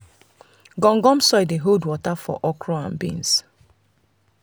gum gum soil dey hold water for okra and beans.